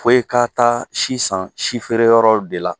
Fɔ i ka taa si san si feere yɔrɔw de la.